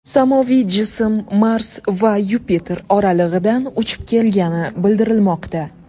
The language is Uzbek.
Samoviy jism Mars va Yupiter oralig‘idan uchib kelgani bildirilmoqda.